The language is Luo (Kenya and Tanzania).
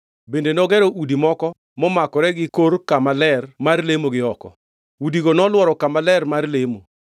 Bende nogero udi moko momakore gi kor kama ler mar lemo gi oko. Udigo nolworo kama ler mar lemo.